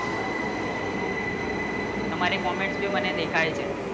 તમારે comment ની મને દેખાવી છે